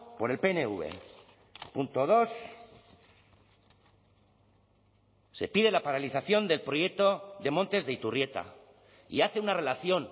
por el pnv punto dos se pide la paralización del proyecto de montes de iturrieta y hace una relación